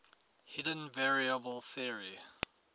hidden variable theory